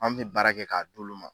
An mɛ baara kɛ k'a d'olu ma.